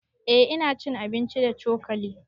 Eh ina cin abinci da cokali